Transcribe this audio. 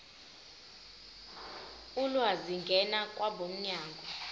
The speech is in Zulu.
ulwazi ngena kwabomnyango